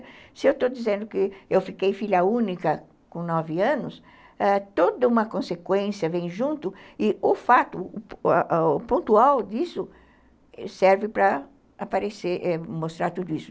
Se eu estou dizendo que eu fiquei filha única com nove anos, ãh, toda uma consequência vem junto e o fato, o pontual disso serve para mostrar tudo isso.